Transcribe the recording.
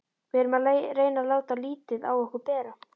Við reynum að láta lítið á okkur bera.